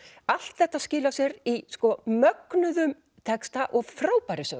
allt þetta skilar sér í mögnuðum texta og frábærri sögu